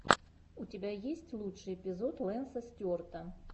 у тебя есть лучший эпизод лэнса стюарта